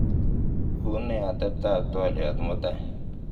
onee atebtab twolyot mutai